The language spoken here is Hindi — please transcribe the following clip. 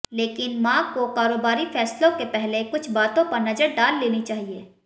लेकिन मा को कारोबारी फैसलों के पहले कुछ बातों पर नजर डाल लेनी चाहिए